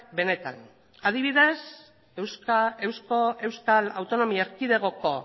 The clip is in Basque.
benetan adibidez euskal autonomia erkidegoko